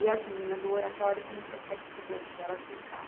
E as meninas do Oratório começou a ficar dificultoso para elas buscar.